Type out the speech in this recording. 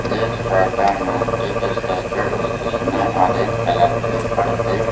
इस फोटो में एक स्टैचू है जिसने ऑरेंज कलर की कुर्ती --